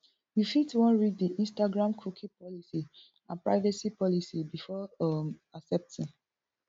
you fit wan read di instagram cookie policy and privacy policy before um accepting